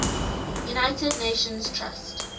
united nations trust